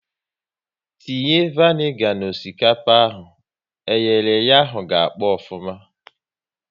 Tinye vanigar n'osikapa eyere eye ahụ ka ọkpọ ofuma!